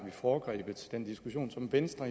vi foregrebet den diskussion som venstre